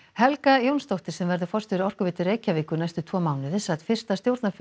Helga Jónsdóttir sem verður forstjóri Orkuveitu Reykjavíkur næstu tvo mánuði sat fyrsta stjórnarfund